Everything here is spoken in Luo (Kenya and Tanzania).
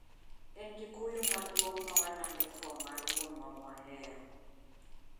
En gi kuyo maduong ' mawalando tho mar wuonwa mwahero